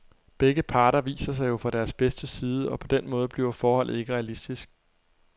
Begge parter viser sig jo fra deres bedste side, og på den måde bliver forholdet ikke realistisk.